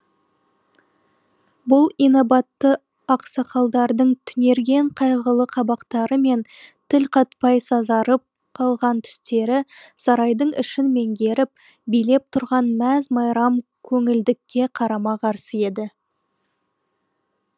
бұл инабатты ақсақалдардың түнерген қайғылы қабақтары мен тіл қатпай сазарып қалған түстері сарайдың ішін меңгеріп билеп тұрған мәз майрам көңілділікке қарама қарсы еді